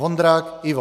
Vondrák Ivo: